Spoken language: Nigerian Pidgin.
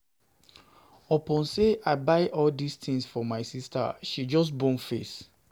Upon sey I buy all dis tins for my sista she just bone face.